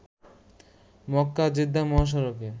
মক্কা-জেদ্দা মহাসড়কে